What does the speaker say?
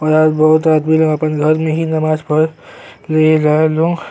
और आज बहुत आदमी लोग आपन घर में ही नमाज पढ़ --